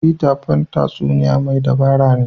Peter Pan tatsuniya mai dabara ne.